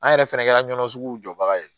An yɛrɛ fɛnɛ kɛra ɲɔnɔ suguw jɔbaga ye